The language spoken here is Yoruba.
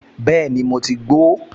Bẹ́ẹ̀ni, mo ti ń gbo ó